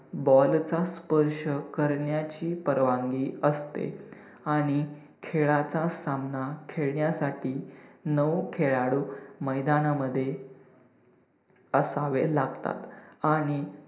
ball चा स्पर्श करण्याची परवानगी असते आणि खेळाचा सामना खेळण्यासाठी नऊ खेळाडू मैदानमध्ये असावे लागतात आणि